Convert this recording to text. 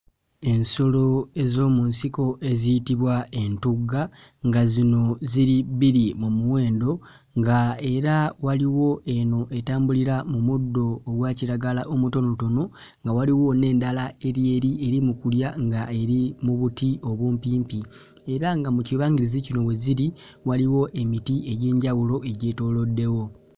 Ensolo ez'omu nsiko eziyitbwa entugga nga zino ziri bbiri mu muwendo nga era waliwo eno etambulira mu muddo ogwa kiragala omutonotono nga waliwo n'endala eri eri eri mu kulya nga eri mu buti obumpimpi era nga mu kibangirizi kino we ziri waliwo emiti egy'enjawulo egyetooloddewo,